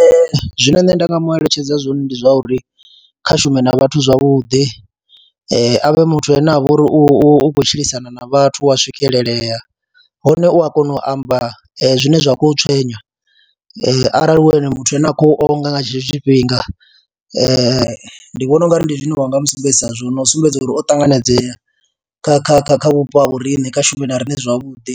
Ee, zwine nṋe nda nga mu eletshedza zwone ndi zwa uri kha shume na vhathu zwavhuḓi, a ye a vhe muthu ane a vha uri u u khou tshilisana na vhathu, u wa swikelelea hone u a kona u amba zwine zwa khou tswenya arali hu ene muthu ane a khou onga nga tshetsho tshifhinga ndi vhona u nga ri ndi zwine wa nga mu sumbedzisa zwone, no sumbedza uri o ṱanganedzea kha kha kha kha vhupo ha vho riṋe, kha shumi na riṋe zwavhuḓi